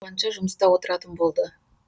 түн ауғанша жұмыста отыратын болды